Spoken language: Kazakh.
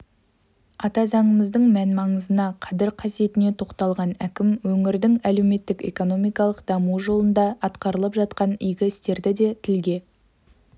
ата заңымыздың мән-маңызына қадір-қасиетіне тоқталған әкім өңірдің әлеуметтік-экономикалық дамуы жолында атқарылып жатқан игі істерді де тілге